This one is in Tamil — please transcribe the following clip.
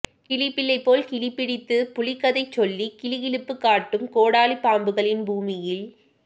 கிளிப்பிள்ளை போல் கிலிபிடித்து புலிக்கதை சொல்லிக் கிளு கிளுப்புக்காட்டும் கோடாலிப் பாம்புகளின் பூமியில்